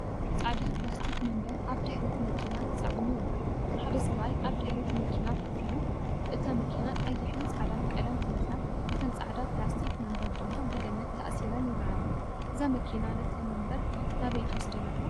ጻዕዳ ፕላስቲክ መንበር ኣብ ድሕሪት መኪና ተጻዒኑ ይርአ። ሓደ ሰብኣይ ኣብ ድሕሪት መኪና ኮፍ ኢሉ፡ እታ መኪና ቀይሕን ጻዕዳን ቀለም ተለኺያ፡ እተን ጻዕዳ ፕላስቲክ መንበር ድማ ብገመድ ተኣሲረን ይረኣያ። እዛ መኪና ነተን መንበር ናበይ ትወደን ኣላ?